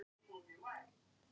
Lag að fækka bensínstöðvum